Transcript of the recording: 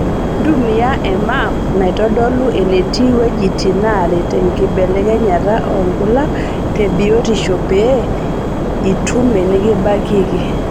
Ntumia e maap naitodolu enetii wuejitin neeret enkibelekenyata olkuak te biotisho pee itum enikibakieki.